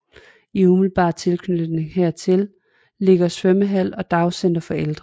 I umiddelbar tilknytning hertil ligger svømmehal og dagcenter for ældre